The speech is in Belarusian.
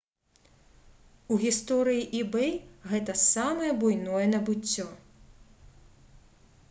у гісторыі ebay гэта самае буйное набыццё